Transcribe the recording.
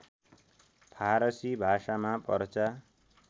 फारसी भाषामा पर्चा